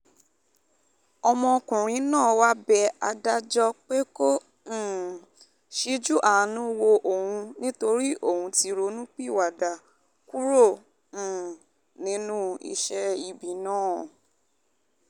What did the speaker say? ọmọkùnrin náà wáá bẹ adájọ́ pé kó um ṣíjú àánú wo òun nítorí òun ti ronúpìwàdà kúrò um nínú iṣẹ́ ibi náà